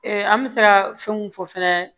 an bɛ se ka fɛnw fɔ fɛnɛ